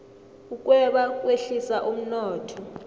ukweba kwehlisa umnotho